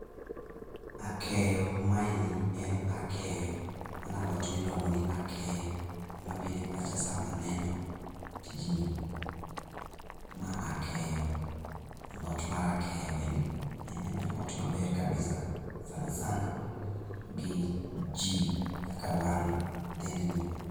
Akeyo maendi en akeyo mano alot miluongo ni akeyo ema biro e pacha sama aneno tijini mano alot mar akeyo. Mano alot maber kabisa sana sana gi ji kaka wan dhend ni